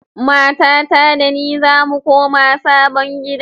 Matata da ni zamu koma sabon gida.